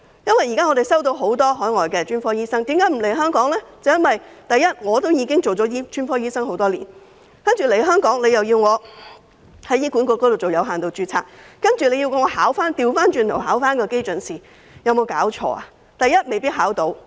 我們聽到很多海外專科醫生不願來港的原因，首先，他們已經當了專科醫生多年，來港後卻要在醫管局作有限度註冊，更倒過頭來要考基準試，有沒有搞錯？